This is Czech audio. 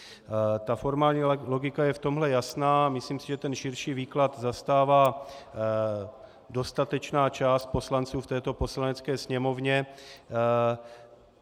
Ta formální logika je v tomhle jasná, myslím si, že ten širší výklad zastává dostatečná část poslanců v této Poslanecké sněmovně.